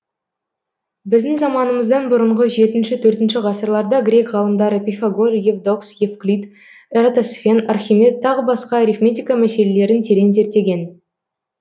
біздің заманымыздан бұрынғы жетінші төртінші ғасырларда грек ғалымдары пифагор евдокс евклид эратосфен архимед тағы басқа арифметика мәселелерін терең зерттеген